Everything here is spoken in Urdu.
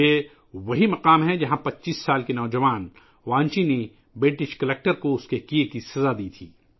یہ وہی جگہ ہے ، جہاں 25 سالہ نوجوان وانچی نے برطانوی کلکٹر کو اس کے کئے کی سزا دی تھی